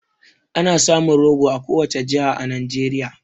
Ana samun rogo a kowani jiha a Nijeriya